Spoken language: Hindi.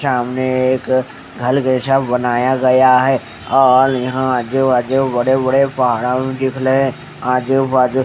सामने एक घर जैसा बनाया गया है और यहाँ आजुबाजु बड़े बड़े दिख रहे है आजुबाजु --